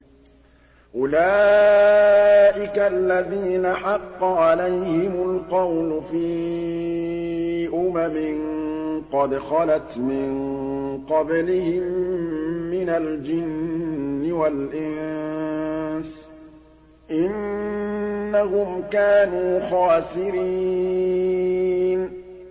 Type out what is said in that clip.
أُولَٰئِكَ الَّذِينَ حَقَّ عَلَيْهِمُ الْقَوْلُ فِي أُمَمٍ قَدْ خَلَتْ مِن قَبْلِهِم مِّنَ الْجِنِّ وَالْإِنسِ ۖ إِنَّهُمْ كَانُوا خَاسِرِينَ